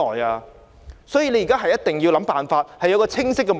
政府現時一定要想辦法，並定下清晰的目標。